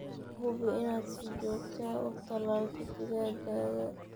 Hubi inaad si joogto ah u tallaalto digaaggaaga.